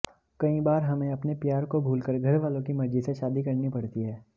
कई बार हमें अपने प्यार को भूलकर घरवालों की मर्जी से शादी करनी पड़ती है